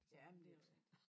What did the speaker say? Ja men det også rigtig